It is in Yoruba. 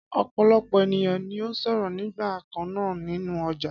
Ọ̀pọ̀lọpọ̀ ènìyàn ni ó ń sọ̀rọ̀ nígbà kan náà nínú ọjà.